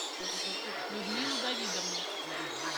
людмилу давидовну